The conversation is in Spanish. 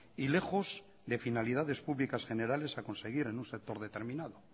y lejos de finalidades públicas generales a conseguir en un sector determinado